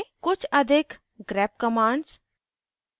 कुछ अधिक grep grep commands